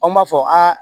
Aw m'a fɔ